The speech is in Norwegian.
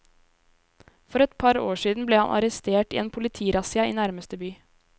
For et par år siden ble han arrestert i en politirassia i nærmeste by.